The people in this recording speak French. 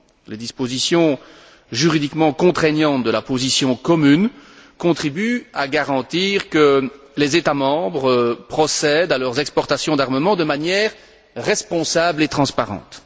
Les dispositions juridiquement contraignantes de la position commune contribuent à garantir que les États membres procèdent à leurs exportations d'armements de manière responsable et transparente.